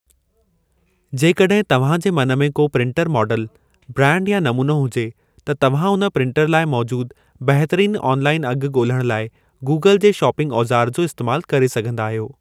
जेकॾहिं तव्हां जे मन में को प्रिंटर मॉडल ब्रांड या नमूनो हुजे त तव्हां उन प्रिंटर लाइ मौजूद बहितरीन ऑनलाइन अघु ॻोल्हण लाइ गूगल जे शॉपिंग औज़ार जो इस्तेमाल करे सघंदा आहियो।